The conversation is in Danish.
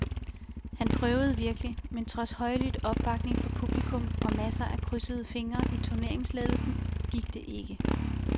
Han prøvede virkelig, men trods højlydt opbakning fra publikum og masser af krydsede fingre i turneringsledelsen gik det ikke.